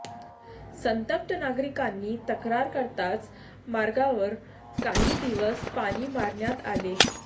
संतप्त नागरिकांनी तक्रार करताच मार्गावर काही दिवस पाणी मारण्यात आले